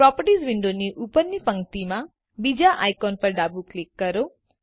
properties વિન્ડોની ઉપરની પક્તિમાં બીજા આઈકોન પર ડાબું ક્લિક કરો